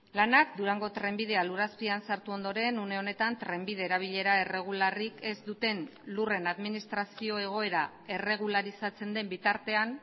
lanak durango trenbidea lur azpian sartu ondoren une honetan trenbide erabilera erregularrik ez duten lurren administrazio egoera erregularizatzen den bitartean